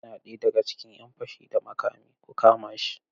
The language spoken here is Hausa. Yana ɗaya daga cikin ‘yan fashi da makami, ku kama shi!